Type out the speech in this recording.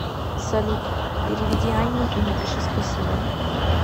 салют переведи анне и напиши спасибо